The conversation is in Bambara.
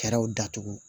Fɛɛrɛw datugu